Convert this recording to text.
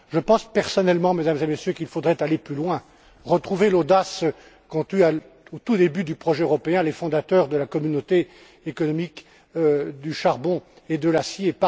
Je pense, personnellement, Mesdames et Messieurs, qu'il faudrait aller plus loin, retrouver l'audace qu'ont eue, au tout début du projet européen, les fondateurs de la Communauté économique du charbon et de l'acier.